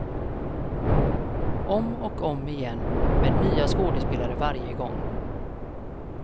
Om och om igen, med nya skådespelare varje gång.